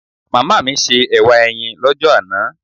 Màmá mi se ẹ̀wà ẹyin l'ọ́jọ́ àná